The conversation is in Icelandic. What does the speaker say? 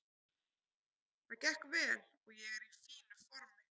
Það gekk vel og ég er í fínu formi.